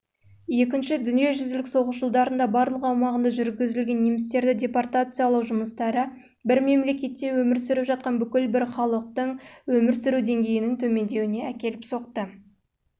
екінші дүниежүзілік соғыс жылдарында барлық аумағында жүргізілген немістерді депортациялау жұмыстары бір мемлекетте өмір сүріп жатқан бүкіл бір халықтың